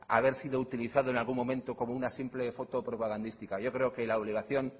haber sido utilizado en algún momento como una simple foto propagandística yo creo que la obligación